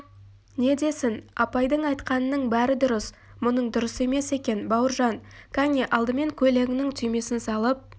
не десін апайдың айтқанының бәрі дұрыс мұның дұрыс емес екен бауыржан кәне алдымен көйлегіңнің түймесін салып